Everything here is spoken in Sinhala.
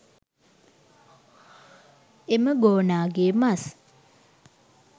එම ගෝනාගේ මස්